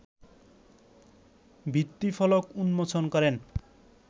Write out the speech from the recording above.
ভিত্তিফলক উন্মোচন করেন